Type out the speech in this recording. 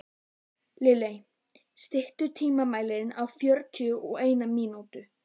Lilley, stilltu tímamælinn á fjörutíu og eina mínútur.